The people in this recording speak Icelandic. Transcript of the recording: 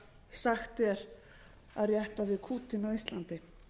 sagt er að rétta við kútinn á íslandi